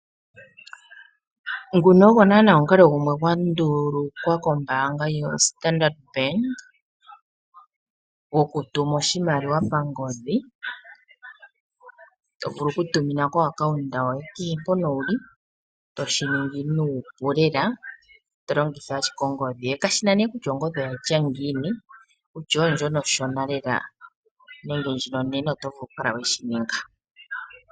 Nguno go naanaa omukalo gumwe gwa ndulukwa kombaanga yoStandard Bank gokutuma oshimaliwa pangodhi, to vulu okutumina komayalulo gombaanga kehe mpoka wu li toshi ningi nuupu lela. To longitha ashike ongodhi yoye. Kashi na nduno kutya ongodhi oya tya ngiini, kutya oyo ndjoka onshona lela nenge ndjoka onene oto vulu okukala we shi ninga.